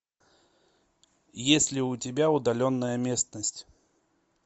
есть ли у тебя удаленная местность